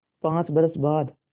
पाँच बरस बाद